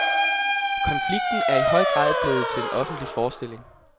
Konflikten er i høj grad blevet til en offentlig forestilling.